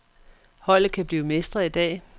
Holdet kan blive mestre i dag.